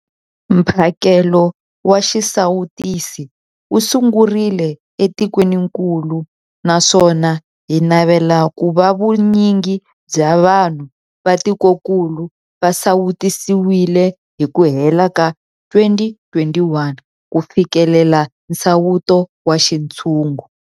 Mphakelo wa xisawutisi wu sungurile etikwenikulu naswona hi navela ku va vunyingi bya vanhu va tikokulu va sawutisiwile hi ku hela ka 2021 ku fikelela nsawuto wa xintshungu.